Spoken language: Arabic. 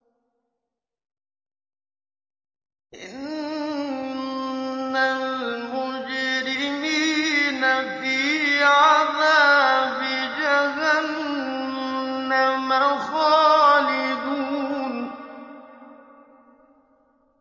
إِنَّ الْمُجْرِمِينَ فِي عَذَابِ جَهَنَّمَ خَالِدُونَ